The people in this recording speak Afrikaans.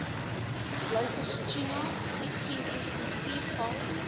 blouvintuna ccsbt val